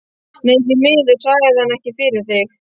Nei því miður sagði hann, ekki fyrir þig